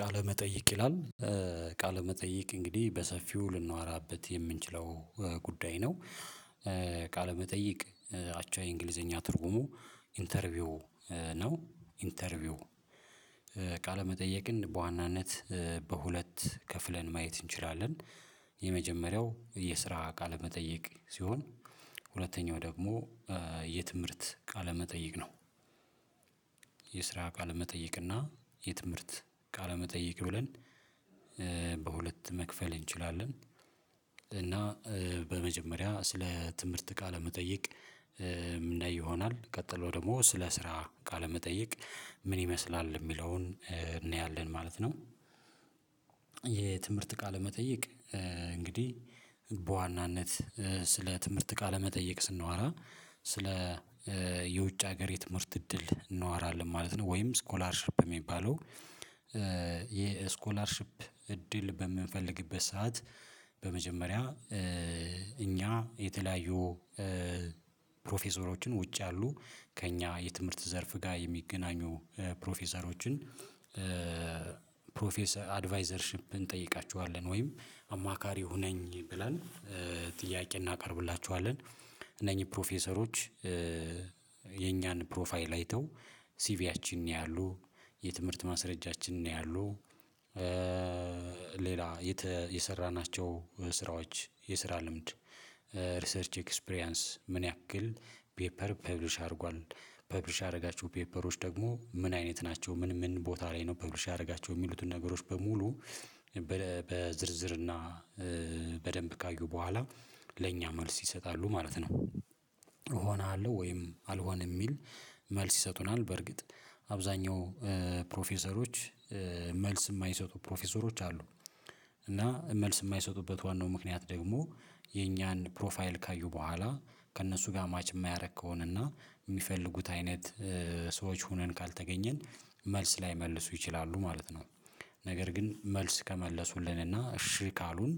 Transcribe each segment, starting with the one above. ቃለ መጠይቅ ይላል ቃለ መጠይቅ እንግዲህ በሰፊው ልናወራበት የምንችለው ጉዳይ ነው። ቃለመጠይቅ አቻ የእንግሊዘኛ ትርጉሙ ኢንተርቪው ነው ኢንተርቪው። ቃለመጠየቅን በዋናነት በሁለት ከፍለን ማየት እንችላለን። የመጀመሪያው የስራ ቃለመጠየቅ ሲሆን ሁለተኛው ደግሞ የትምህርት ቃለመጠይቅ ነው። የስራ ቃለመጠይቅ እና የትምህርት ካለመጠየቅ ብለን በሁለት መክፈል እንችላለን። እና በመጀመሪያ ስለ ትምህርት ቃለመጠየቅ ምናይ ይሆናል ቀጥሎ ደግሞ ስለ ስራ ቃለመጠየቅ ምን ይመስላል የሚለውን እንያለን ማለት ነው። የትምህርት ቃለመጠየቅ እንግዲህ በዋናነት ስለ ትምህርት ቃለመጠየቅ ስናወራ ስለ የውጭ ሀገር የትምህርት እድል እናወራለን ማለት ነው። ወይም ስኮላርሺፕ የሚባለው። የስኮላርሺፕ እድል በምንፈልግበት ሰዓት በመጀመሪያ እኛ የተለያዩ ፕሮፌሰሮችን ውጭ ያሉ ከእኛ የትምህርት ዘርፍ ጋር የሚገናኙ ፕሮፌሰሮችን ፕሮፌሰር አድቫይዘርሺፕ እንጠይቃችኋለን ወይም አማካሪ ሁነኝ ብለን ጥያቄ እናቀርብላችኋለን። እነኚህ ፕሮፌሰሮች የኛን ፕሮፋይል አይተው ሲቪያችንን ያያሉ የትምህርት ማስረጃችንን ያያሉ። ሌላ የሰራናቸው ስራዎች የስራ ልምድ ሪሰርች ኤክስፕሪያንስ ምን ያክል ፔፐር ፐብሊሽ አድርጓል ፐብሊሽ አደረጋቸው ፔፐሮች ደግሞ ምን አይነት ናቸው ምን ምን ቦታ ላይ ነው ፐብሊሽ ያደረጋቸው የሚሉትን ነገሮች በሙሉ በዝርዝርና በደንብ ካዩ በኋላ ለኛ መልስ ይሰጣሉ ማለት ነው። እሆናለሁ ወይም አልሆነም የሚል መልስ ይሰጡናል በርግጥ አብዛኛው ፕሮፌሰሮች መልስ የማይሰጡ ፕሮፌሰሮች አሉ። እና መልስ የማይሰጡበት ዋናው ምክንያት ደግሞ የኛን ፕሮፋይል ካዩ በኋላ ከእነሱ ጋር ማች የማያደርግ ከሆነና የሚፈልጉት አይነት ሰዎች ሆነን ካልተገኘን መልስ ላይመልሱ ይችላሉ ማለት ነው። ነገር ግን መልስ ከመለሱልንና እሺ ካሉን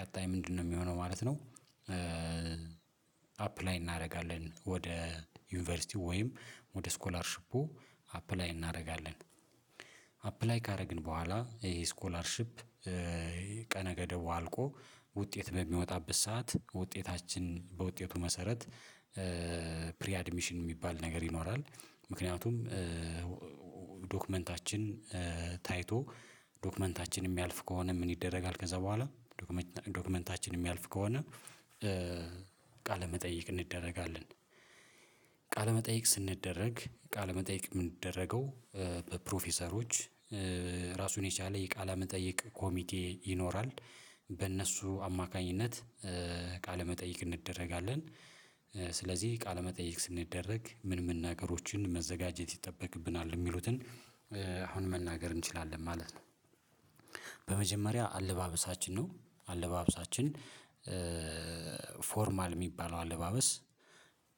ቀጣይ ምንድነው የሚሆነው ማለት ነው? አፕላይ እናደርጋለን ወደ ዩኒቨርሲቲ ወይም ወደ ስኮላርሺፑ አፕላይ እናደርጋለን። አፕላይ ካደረግን በኋላ ይሄ ስኮላርሺፕ ቀነ ገደቡ አልቆ ውጤት በሚወጣበት ሰዓት ውጤታችን በውጤቱ መሰረት ፕሪ አድሚሽን የሚባል ነገር ይኖራል። ምክንያቱም ዶክመንታችን ታይቶ ዶክመንታችን የሚያልፍ ከሆነ ምን ይደረጋል ከዛ በኋላ ዶክመንታችን የሚያልፍ ከሆነ ቃለ መጠይቅ እንደረጋለን። ቃለመጠይቅ ስንደረግ ቃለመጠይቅ የምንደረገው በፕሮፌሰሮች ራሱን የቻለ የቃለ መጠየቅ ኮሚቴ ይኖራል በእነሱ አማካኝነት ቃለ መጠይቅ እንደረጋለን። ስለዚህ ቃለመጠይቅ ስንደረግ ምን መናገሮችን መዘጋጀት ይጠበቅብናል የሚሉትን አሁን መናገር እንችላለን ማለት ነው። በመጀመሪያ አለባበሳችን ነው አለባበሳችን ፎርማል የሚባለው አለባበስ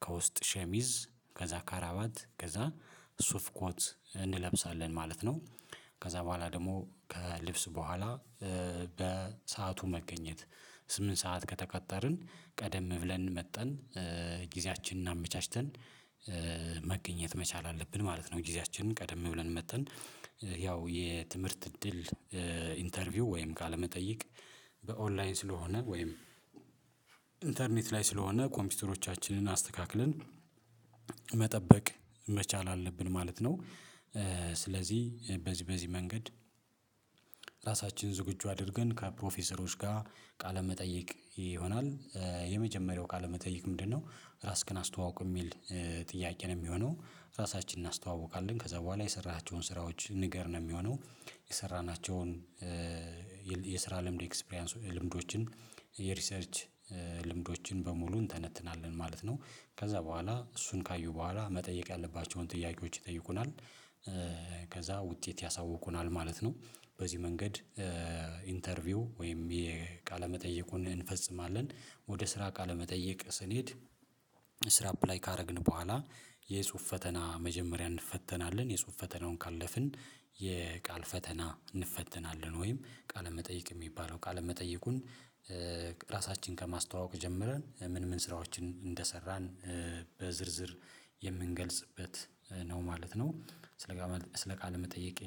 ከውስጥ ሸሚዝ ከዛ ካራባት ከዛ ሱፍ ኮት እንለብሳለን ማለት ነው። ከዛ በኋላ ደግሞ ከልብስ በኋላ በሰአቱ መገኘት ስምንት ሰዓት ከተቀጠርን ቀደም ብለን መጠን ጊዜያችንን አመቻችተን መገኘት መቻል አለብን ማለት ነው። ጊዜያችንን ቀደም ብለን መጥተን ያው የትምህርት እድል ኢንተርቪው ወይም ቃለመጠየቅ በኦንላይን ስለሆነ ወይም ኢንተርኔት ላይ ስለሆነ ኮምፒውተሮቻችንን አስተካክለን መጠበቅ መቻል አለብን ማለት ነው። ስለዚህ በዚህ በዚህ መንገድ ራሳችን ዝግጁ አድርገን ከፕሮፌሰሮች ጋር ቃለመጠየቅ ይሆናል። የመጀመሪያው ቃለመጠየቅ ምንድነው ራስክን አስተዋውቅ የሚል ጥያቄ ነው የሚሆነው ራሳችንን እናስተዋውቃለን ከዛ በኋላ የሰራሃቸውን ስራዎች ንገር ነው የሚሆነው። የሰራናቸውን የስራ ልምድ ኤክስፕሪያንስ ልምዶችን የሪሰርች ልምዶችን በሙሉ እንተነትናለን ማለት ነው። ከዛ በኋላ እሱን ካዩ በኋላ መጠየቅ ያለባቸውን ጥያቄዎች ይጠይቁናል። ከዛ ውጤት ያሳውቁናል ማለት ነው። በዚህ መንገድ ኢንተርቪው ወይም የቃለ መጠየቁን እንፈጽማለን ወደ ስራ ቃለመጠየቅ ስንሄድ። ስራ አፕላይ ካደረግን በኋላ የጽሁፍ ፈተና መጀመሪያ እንፈተናለን የጽሁፍ ፈተናውን ካለፍን የቃል ፈተና እንፈተናለን ወይም ቃለመጠይቅ የሚባለው ቃለ መጠይቁን ራሳችንን ከማስተዋወቅ ጀምረን ምን ምን ስራዎችን እንደሰራን በዝርዝር የምንገልጽበት ነው ማለት ነው። ስለ ቃለ መጠየቅ